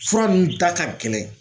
Fura ninnu ta ka gɛlɛn.